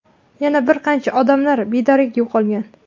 Yana bir qancha odamlar bedarak yo‘qolgan.